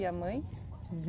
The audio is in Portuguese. E a mãe?